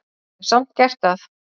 Hef samt gert það.